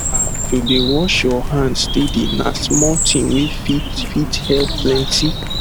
ah to dey wash your hand steady na small thing wey fit fit help plenty